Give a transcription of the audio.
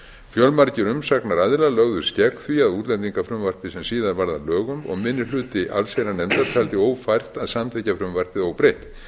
fjölmargir umsagnaraðilar lögðust gegn því útlendingalagafrumvarpi sem síðar varð að lögum og minni hluti allsherjarnefndar taldi ófært að samþykkja frumvarpið óbreytt